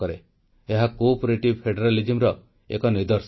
ଏହା ସହଯୋଗୀ ସଂଘବାଦର ଏକ ନିଦର୍ଶନ